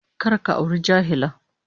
Kar ka auri jahila